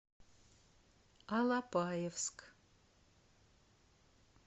алапаевск